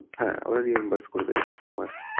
হ্যা ওরা reimburse করে দেবে প্রত্যেক মাসে।